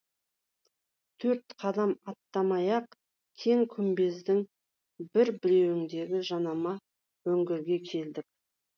төрт қадам аттамай ақ кең күмбездің бір бүйіріндегі жанама үңгірге келдік